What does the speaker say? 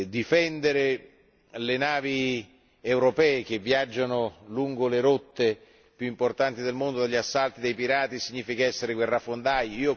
Difendere le navi europee che viaggiano lungo le rotte più importanti del mondo dagli assalti dei pirati significa essere guerrafondai?